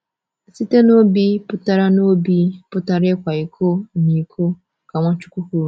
Site n’obi pụtara n’obi pụtara ịkwa iko na iko, ka Nwachukwu kwuru.